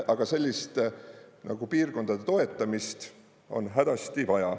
Aga sellist nagu piirkondade toetamist on hädasti vaja.